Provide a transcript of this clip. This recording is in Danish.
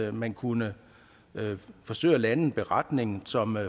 at man kunne forsøge at lave en beretning som